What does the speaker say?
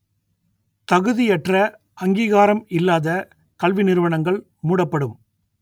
தகுதியற்ற அங்கீகாரம் இல்லாத கல்வி நிறுவனங்கள் மூடப்படும்